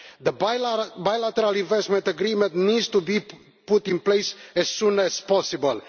The bilateral investment agreement needs to be put in place as soon as possible.